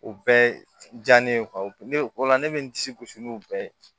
O bɛɛ diya ne ye ne ola ne bɛ n disi gosi n'u bɛɛ ye